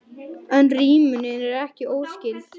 En rímunin er ekki óskyld.